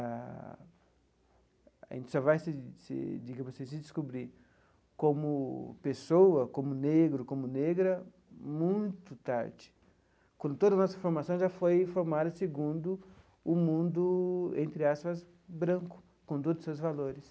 Ah a gente só vai se se digamos se descobrir como pessoa, como negro, como negra, muito tarde, quando toda a nossa formação já foi formada segundo o mundo, entre aspas, branco, com todos os seus valores.